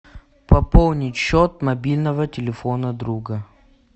пополнить счет мобильного телефона друга